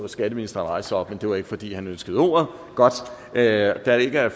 skatteministeren rejse sig op men det var ikke fordi han ønskede ordet godt da der ikke er